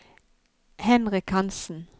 Henrik Hanssen